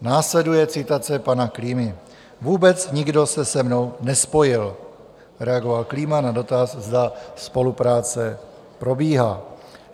Následuje citace pana Klímy: "Vůbec nikdo se se mnou nespojil," reagoval Klíma na dotaz, zda spolupráce probíhá.